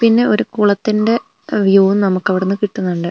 പിന്നെ ഒരു കുളത്തിന്റെ വ്യൂ നമുക്ക് അവിടുന്ന് കിട്ടുന്നുണ്ട്.